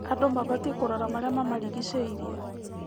Andũ mabatiĩ kũrora marĩa mamarigicĩirie.